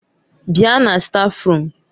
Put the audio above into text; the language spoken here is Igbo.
Bịa na stáfruum!